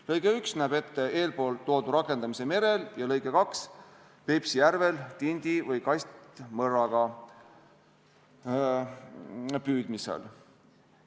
Lõige 1 näeb ette eeltoodu rakendamise merel ja lõige 2 Peipsi järvel tindi- või kastmõrraga püüdmisel.